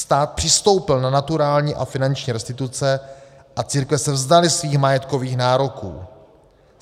Stát přistoupil na naturální a finanční restituce a církve se vzdaly svých majetkových nároků.